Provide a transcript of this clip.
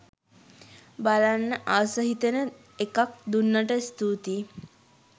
බලන්න ආස හිතෙන එකක් දුන්නට ස්තූතියි.